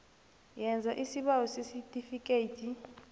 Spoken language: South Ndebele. yenza isibawo sesitifikhethi